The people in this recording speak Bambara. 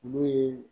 Olu ye